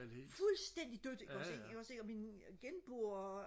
fuldstændig dødt ikke også ikke ikke også ikke og min genboer